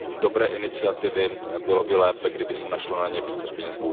dobré iniciativy, bylo by lépe, kdyby se na ně našlo více peněz.